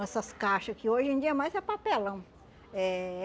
Essas caixa, que hoje em dia mais é papelão. Eh